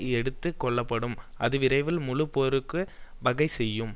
எடுத்து கொள்ளப்படும் அது விரைவில் முழு போருக்கு வகை செய்யும்